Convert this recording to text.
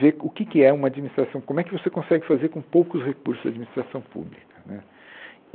vê o que que é uma administração, como é que você consegue fazer com poucos recursos da administração pública né.